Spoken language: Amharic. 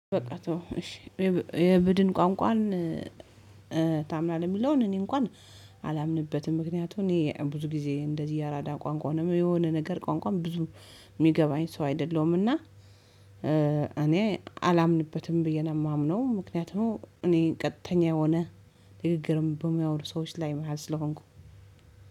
በቃ ተወው እሺ የብድን ቋንቋን ታምናለህ? የሚለውን እኔ እንኳን አላምንበትም ምክንያቱም እኔ ብዙ ጊዜ እንደዚህ ያረዳ ቋንቋ ነው የምለው የሆነ ነገር ቋንቋም ብዙ የሚገባኝ ሰው አይደለሁምና። እኔ አላምንበትም ብዬ ነው የማምነው ምክንያቱም እኔ ቀጥተኛ የሆነ ንግግርም በሚያወሩ ሰዎች ላይ መሃል ስለሆንኩ።